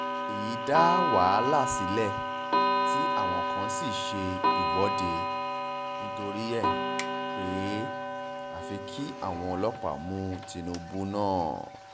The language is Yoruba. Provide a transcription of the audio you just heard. èyí dá wàhálà sílẹ̀ tí àwọn kan sì ṣe ìwọ́de nítorí ẹ̀ pé àfi kí àwọn ọlọ́pàá mú tìǹbù náà